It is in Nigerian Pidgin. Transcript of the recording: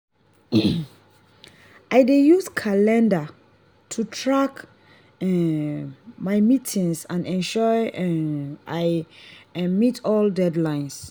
i dey use calendar to track um my meetings and ensure um i um meet all deadlines.